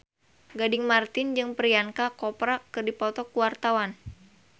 Gading Marten jeung Priyanka Chopra keur dipoto ku wartawan